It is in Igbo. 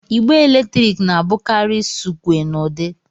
igbe eletrik na-abụkarị sụkwé na udi